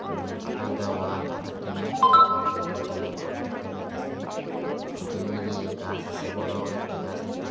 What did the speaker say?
উঁম আধা ওয়াল আধা টিন -এর তারপর দুইতলা ঘর দেখতে পাইতাসি তার সাথে উইদিকে গাস আসে বড় একটা গাস দেখতে --